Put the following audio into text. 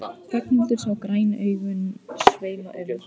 Ragnhildur sá græn augun sveima um.